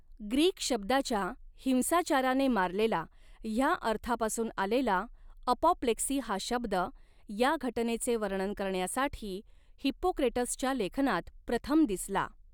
Greek शब्दाच्या 'हिंसाचाराने मारलेला' ह्या अर्थापासून आलेला, अपॉप्लेक्सी हा शब्द, या घटनेचे वर्णन करण्यासाठी हिप्पोक्रेटसच्या लेखनात प्रथम दिसला.